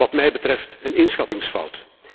Wat mij betreft een inschattingsfout.